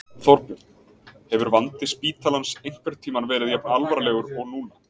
Þorbjörn: Hefur vandi spítalans einhvern tímann verið jafn alvarlegur og núna?